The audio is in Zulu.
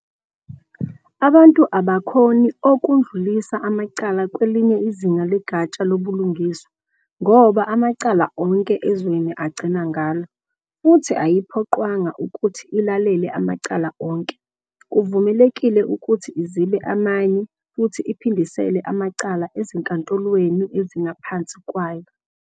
Abantu abakhoni okudlulisa amacala kwelinye izinga legatsha lobulungiswa ngoba amacala onke ezweni agcina ngalo. Futhi ayiphoqwanga ukuthi ilalele amacala onke, kuvumelekile ukuthi izibe amanye futhi iphindisele amacala ezinkantolweni ezingaphansi kwayo.